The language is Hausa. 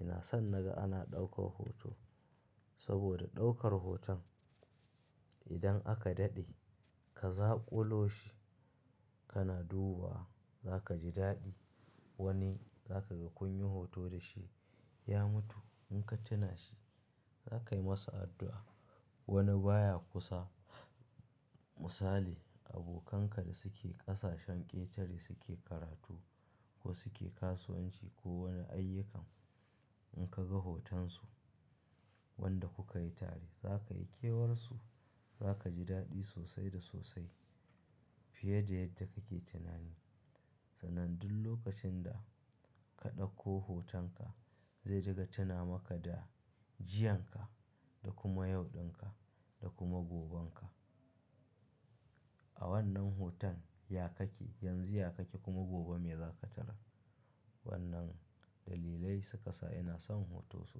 ina son na ga ana ɗaukar hoto. Saboda ɗaukar hoton idan aka daɗe ka zaƙulo shi kana dubuwa, za ka ji daɗi. Wani za ka ga kun yi hoto da shi ya mutu, in ka tuna shi za ka yi masa addu'a. Wani baya kusa misali abokanka da suke ƙasashen ƙetare suke karatu ko suke kasuwanci ko wani ayyukan. In ka ga hotonsu wanda kuka yi tare za ka yi kewar su za ka ji daɗi sosai da sosai fiye da yadda kake tunani. Sanadin lokacin da ka ɗauko hotonka zai daga tuna maka da jiyan ka da kuma yauɗin ka da kuma goben ka. A wannan hoton ya kake yanzu ya kake kuma gobe me za ka tarar. Wannan dalilai suƙa sa ina son hoto sosai.